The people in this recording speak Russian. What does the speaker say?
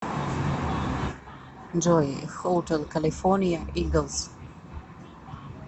джой хотел калифорния иглс